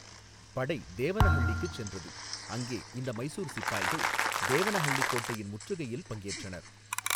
படை தேவனஹள்ளிக்குச் சென்றது, அங்கே இந்த மைசூர் சிப்பாய்கள் தேவனஹள்ளிக் கோட்டையின் முற்றுகையில் பங்கேற்றனர்.